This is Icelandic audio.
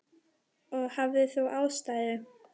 Og hafðir þú ástæðu?